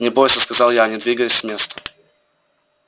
не бойся сказал я не двигаясь с места